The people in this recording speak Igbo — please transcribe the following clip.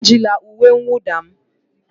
Ejila uwe mwụda m!